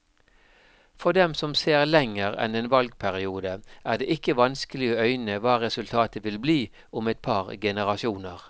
For dem som ser lenger enn en valgperiode, er det ikke vanskelig å øyne hva resultatet vil bli om et par generasjoner.